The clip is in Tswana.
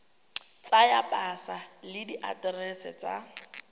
tsa pasa le diaterese tsa